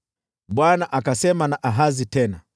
Bwana akasema na Ahazi tena,